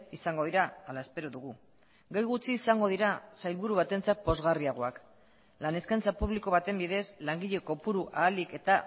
izango dira hala espero dugu gai gutxi izango dira sailburu batentzat pozgarriagoak lan eskaintza publiko baten bidez langile kopuru ahalik eta